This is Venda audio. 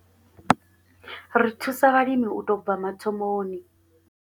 Ri thusa vhalimi u tou bva mathomoni.